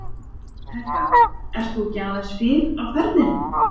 Helga: Ert þú ekki aðeins fyrr á ferðinni?